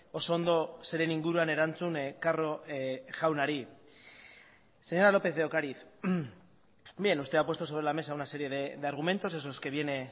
oso ondo zeren inguruan erantzun carro jaunari señora lópez de ocariz bien usted ha puesto sobre la mesa una serie de argumentos esos que viene